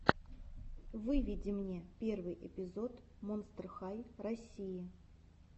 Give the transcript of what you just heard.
выведи мне первый эпизод монстр хай россии